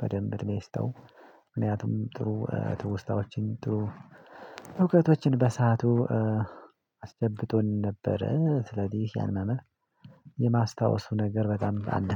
በደንብ እድሜ ይስጠው ምክንያቱም ጥሩ ትውስታዎችን ጥሩ እውቀቶችን በሰአቱ አስጨብጦኝ ነበረ ስለዚህ ያን መምህር የማስታወሱ ነገር በጣም አለ